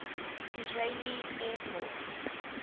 israeli air force